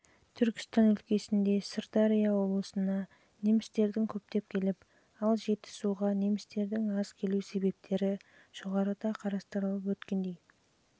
түркістан өлкесінде сырдария облысына немістердің көптеп келіп ал жетісуға немістердің аз келу себептері жоғарыда қарастырып өткендей